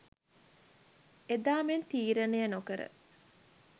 එදා මෙන් තීරණය නොකර